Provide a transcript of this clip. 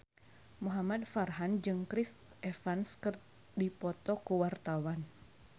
Muhamad Farhan jeung Chris Evans keur dipoto ku wartawan